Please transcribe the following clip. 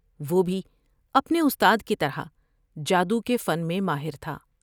وہ بھی اپنے استاد کی طرح جادو کے فن میں ماہر تھا ۔